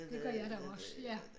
Det gør jeg da også ja